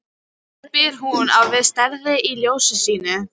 spyr hún, og á við strætið í ljóðinu sínu.